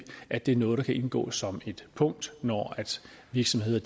at det er noget der kan indgå som et punkt når virksomheder